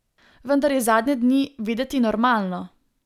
Vendar je zadnje dni videti normalno.